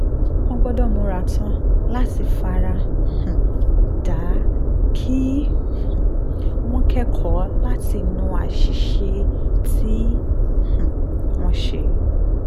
wọ́n gbọ́dọ̀ múra tán láti fara um dà á kí um wọ́n kẹ́kọ̀ọ́ látinú àṣìṣe tí um wọ́n ṣe